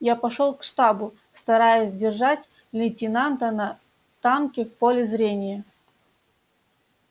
я пошёл к штабу стараясь держать лейтенанта на танке в поле зрения